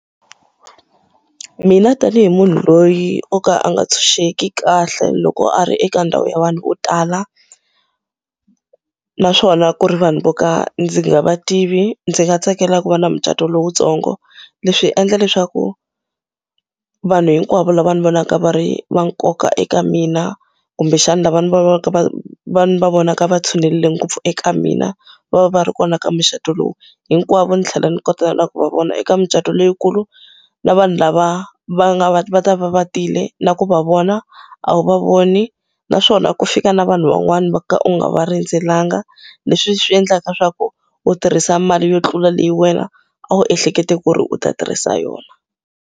Mina tanihi munhu loyi o ka a nga ntshunxeki kahle loko a ri eka ndhawu ya vanhu vo tala, naswona ku ri vanhu vo ka ndzi nga va tivi ndzi nga tsakela ku va na mucato lowutsongo. Leswi endla leswaku vanhu hinkwavo lava ndzi vonaka va ri va nkoka eka mina kumbexana lava ndzi va va vonaka va tshinelele ngopfu eka mina va va ri kona eka mucato lowu. Hinkwavo ndzi tlhela ndzi kota na ku va vona. Eka mucato leyikulu, na vanhu lava va nga va va ta va tile na ku va vona a wu va voni, naswona ku fika na vanhu van'wana va ka u nga va rindzelanga leswi swi endlaka leswaku u tirhisa mali yo tlula leyi wena a wu ehlekete ku ri u ta tirhisa yona.